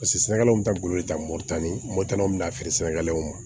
Paseke sɛnɛkɛlaw bɛ taa golo ta moto ni motaniw bɛ na feere sɛnɛkɛlaw ma